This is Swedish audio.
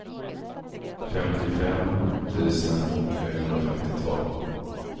femtiofem tusen trehundrafemtiotvå